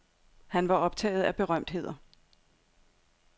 Han var optaget af berømtheder.